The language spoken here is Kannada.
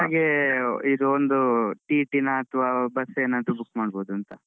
ಹಾಗೆ ಇದು ಒಂದು IT ನ ಅಥ್ವಾbus ಏನಾದ್ರೂ ಒಂದ್ book ಮಾಡಬಹುದಂತ.